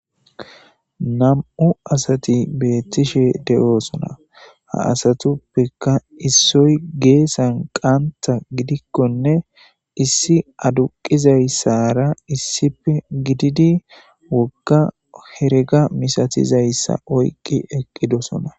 2 asat betishe de'osona, ha asatuppeka issoy geesan qanta gidikonne issi aduqizaysara issippe gidid woga herega misatizaysa oyk eqidosona.